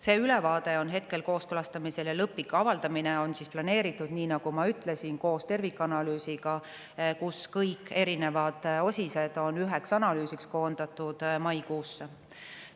See ülevaade on hetkel kooskõlastamisel ja lõplik avaldamine on planeeritud, nii nagu ma ütlesin, koos tervikanalüüsiga, kus kõik erinevad osised on üheks analüüsiks koondatud, maikuusse.